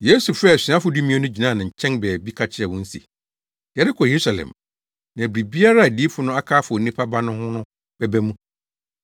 Yesu frɛɛ asuafo dumien no gyinaa nkyɛn baabi ka kyerɛɛ wɔn se, “Yɛrekɔ Yerusalem, na biribiara a adiyifo no aka afa Onipa Ba no ho no bɛba mu.